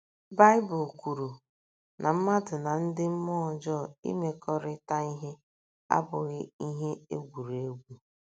Baịbụl kwuru na mmadụ na ndị mmụọ ọjọọ imekọrịta ihe abụghị ihe egwuregwu.